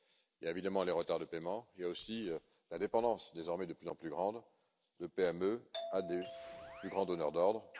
Il y a évidemment les retards de paiement, il y a aussi la dépendance, désormais de plus en plus grande, de PME vis à vis de plus grands donneurs d'ordre.